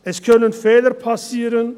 Es können Fehler passieren;